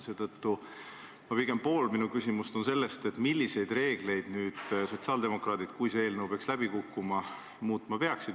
Seetõttu on pool minu küsimust selle kohta, milliseid reegleid sotsiaaldemokraadid, kui see eelnõu peaks läbi kukkuma, muutma peaksid.